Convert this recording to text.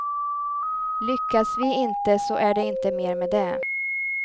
Lyckas vi inte så är det inte mer med det.